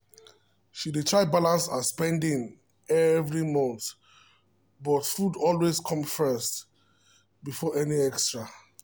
she dey try balance her spending every month but food always come first before anything extra